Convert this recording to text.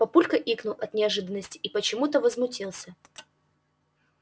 папулька икнул от неожиданности и почему-то возмутился